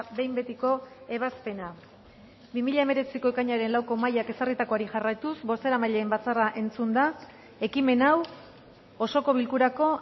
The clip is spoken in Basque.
behin betiko ebazpena bi mila hemeretziko ekainaren lauko mahaiak ezarritakoari jarraituz bozeramaileen batzarra entzunda ekimen hau osoko bilkurako